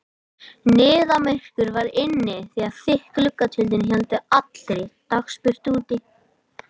Niðamyrkur var inni því að þykk gluggatjöld héldu allri dagsbirtu úti.